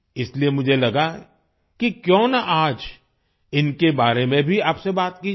इसलिए मुझे लगा कि क्यों ना आज इनके बारे में भी आपसे बात की जाय